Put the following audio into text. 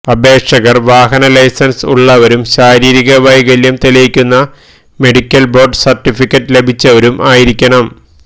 അപേക്ഷകർ വാഹന ലൈസൻസ് ഉള്ളവരും ശാരീരിക വൈകല്യം തെളിയിക്കുന്ന മെഡിക്കൽ ബോർഡ് സർട്ടിഫിക്കറ്റ് ലഭിച്ചവരും ആയിരിക്കണം